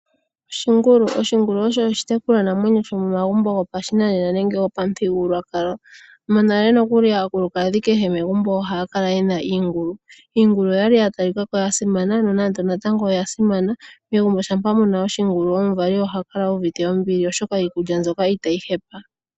Oshingulu. Oshingulu osho oshitekulwanamwenyo shomomagumbo gopashinanena nenge pamuthigululwakalo. Monale nokuli aakulukadhi kehe megumbo ohaya kala ye na iingulu. Iingulu oya li ya talika ko oya simana, nonando natango oyà simana. Megumbo shampa mu na oshingulu omuvali oha kala u uvite ombili oshoka iikulya mbyoka ita yi hepa.